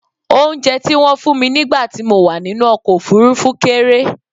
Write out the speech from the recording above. Oúnjẹ tí wọ́n fún mi nígbà tí mo wà nínú ọkọ̀ òfurufú kéré